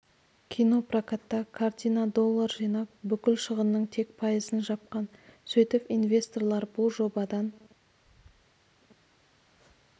кинопрокатта картина доллар жинап бүкіл шығынның тек пайызын жапқан сөйтіп инвесторлар бұл жобадан